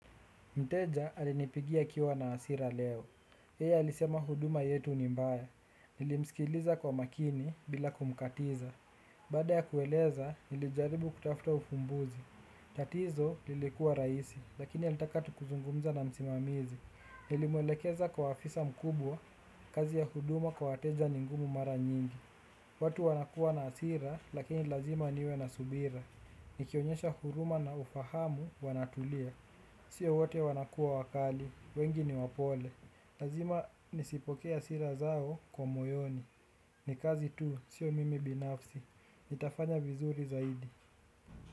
Mteja alinipigia akiwa na hasira leo. Yeye alisema huduma yetu ni mbaya. Nilimsikiliza kwa makini bila kumkatiza. Baada ya kueleza nilijaribu kutafuta ufumbuzi. Tatizo lilikuwa rahisi, lakini alitaka tu kuzungumza na msimamizi. Nilimwelekeza kwa afisa mkubwa, kazi ya huduma kwa wateja ningumu mara nyingi. Watu wanakuwa na hasira, lakini lazima niwe na subira. Nikionyesha huruma na ufahamu wanatulia. Sio wote wanakuwa wakali, wengi ni wapole lazima nisipokee hasira zao kwa moyoni. Nikazi tu, sio mimi binafsi. Nitafanya vizuri zaidi.